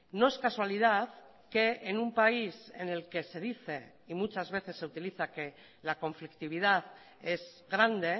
no es casualidad que en un país en el que se dice y muchas veces se utiliza que la conflictividad es grande